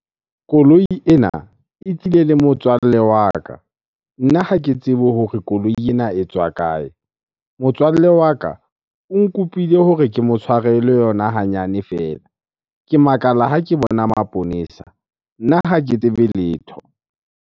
Koloi ena e tlile le motswalle wa ka. Nna ha ke tsebe hore koloi ena e tswa kae? Motswalle wa ka o nkopile hore ke mo tshwarele yona hanyane fela. Ke makala ha ke bona maponesa. Nna ha ke tsebe letho.